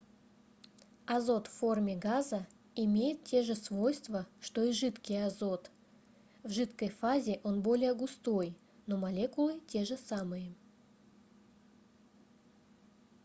азот в форме газа имеет те же свойства что и жидкий азот в жидкой фазе он более густой но молекулы те же самые